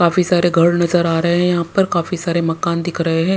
काफी सारे घर नजर आ रहे हैं यहाँ पर काफी सारे मकान दिख रहे हैं।